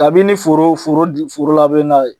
Kabini foro foro d foro labɛn na